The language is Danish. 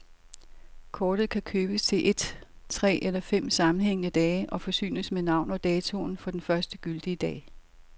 Kortet kan købes til et, tre eller fem sammenhængende dage og forsynes med navn og datoen for den første gyldige dag.